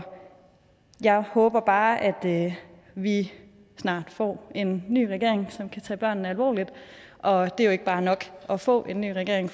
jeg håber bare at at vi snart får en ny regering som kan tage børnene alvorligt og det er jo ikke bare nok at få en ny regering